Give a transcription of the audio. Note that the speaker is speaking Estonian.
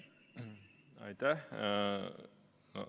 Aitäh!